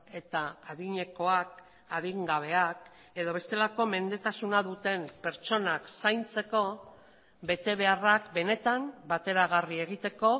eta adinekoak adin gabeak edo bestelako mendetasuna duten pertsonak zaintzeko betebeharrak benetan bateragarri egiteko